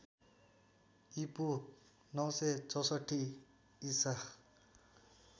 ईपू ९६४ ईसा